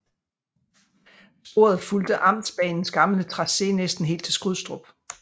Sporet fulgte amtsbanens gamle tracé næsten helt til Skrydstrup